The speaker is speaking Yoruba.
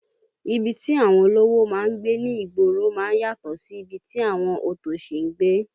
Ibi tí àwọn olówó máa ń gbé ní ìgboro máa ń yàtọ̀ sí ibi tí àwọn òtòṣì ń gbé